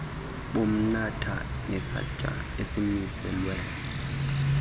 bomnatha nesantya esimiselwe